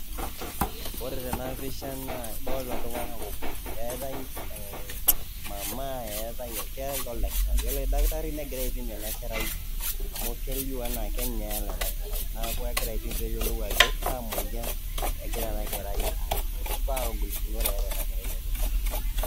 Ore tena pisha naa adolita iltung'anak ookuni eeta e mama etae enkerai eetae oldakitari, naa ore oldakitari negira aipim enakerai amu kelio enaa kenyaala, neeku kegira aipim ajo kaamoyian eeta kakwa golikinot eeta tiatua osesen lenye.